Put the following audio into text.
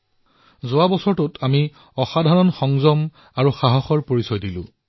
আমি যোৱা বছৰ অসাধাৰণ সংযম আৰু সাহসৰ পৰিচয় দিলো